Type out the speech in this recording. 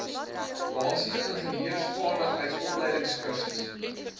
basiese ingenieursvaardigheid opleidingskursus